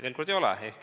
Veel kord: ei ole.